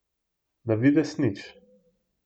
Na videz nič.